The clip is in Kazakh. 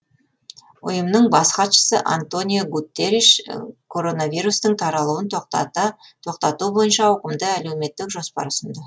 ұйымның бас хатшысы антониу гутерриш коронавирустың таралуын тоқтату бойынша ауқымды әлеуметтік жоспар ұсынды